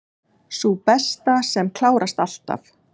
Sú besta, sem klárast alltaf.